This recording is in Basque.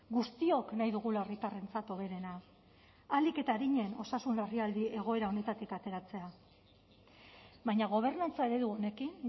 guztiok nahi dugula herritarrentzat hoberena ahalik eta arinen osasun larrialdi egoera honetatik ateratzea baina gobernantza eredu honekin